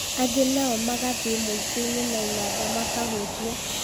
angĩ nao magathiĩ muingĩini na inanda makahunjia